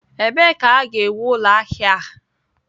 Ebee ka ha ga-ewu ụlọ ahịa a?